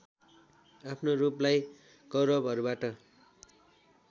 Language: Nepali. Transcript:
आफ्नो रूपलाई कौरवहरूबाट